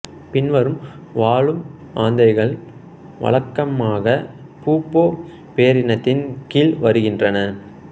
பின்வரும் வாழும் ஆந்தைகள் வழக்கமாக புபோ பேரினத்தின் கீழ் வருகின்றன